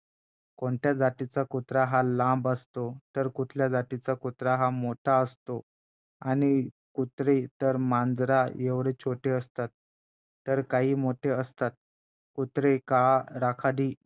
कोणत्या जातीचा कुत्रा हा लांब असतो तर कुठल्या जातीचा कुत्रा हा मोठा असतो आणि कुत्रे तर मांजराएवढे छोटे असतात तर काही मोठे असतात कुत्रे काळा राखाडी